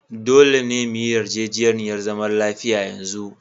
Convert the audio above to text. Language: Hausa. Dolle me yi yarjejeniyar zaman lafiya yanzu!